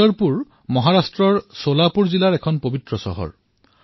পণ্টৰপুৰ মহাৰাষ্ট্ৰ চোলাপুৰ জিলাৰ এখন পবিত্ৰ চহৰ